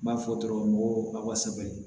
N b'a fɔ dɔrɔn mɔgɔw a ka sabali